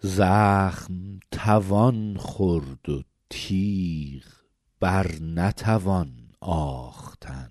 زخم توان خورد و تیغ بر نتوان آختن